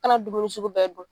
Ka na dumuni sugu bɛɛ dun.